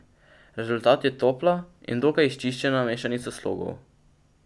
Rezultat je topla in dokaj izčiščena mešanica slogov.